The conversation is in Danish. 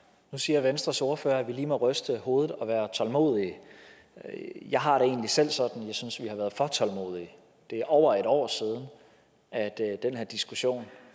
nu siger venstres ordfører at vi lige må ryste hovedet og være tålmodige jeg har det egentlig selv sådan at jeg synes vi har været for tålmodige det er over et år siden at den her diskussion